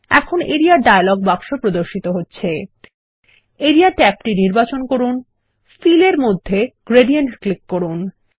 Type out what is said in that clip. এখন area dialog বাক্স প্রদর্শিত হচ্ছে এরিয়া ট্যাবটি নির্বাচন করুন ফিল এর মধ্যে গ্রেডিয়েন্ট ক্লিক করুন